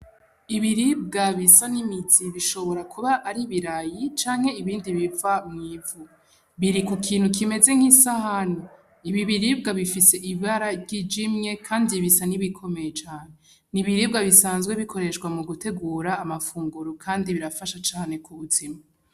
Ibiribwa bisa n’imizi bishobora kuba ari Ibirayi canke ibindi biva mw’ivu . Biri ku kintu kimeze nk’isahani , ibi biribwa bifise ibara ryijimye kandi bisa nk’ibikomeye cane , n’ibiribwa bisanzwe bikoreshwa mugitegura amafunguro kandi birafasha cane ku buzima .